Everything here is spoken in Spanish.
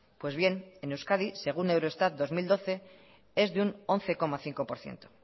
pues bien en euskadi según eurostat dos mil doce es de un once coma cinco por ciento